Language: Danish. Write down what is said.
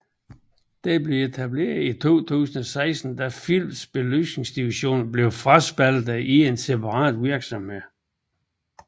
Den blev etableret i 2016 da Philips belysningsdivision blev fraspaltet til en separat virksomhed